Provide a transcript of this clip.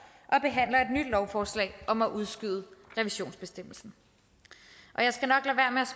og behandler et nyt lovforslag om at udskyde revisionsbestemmelsen